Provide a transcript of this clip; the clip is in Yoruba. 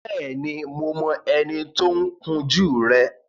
Bẹ́ẹ̀ni, mo mọ ẹni tí ó ń kun jú rẹ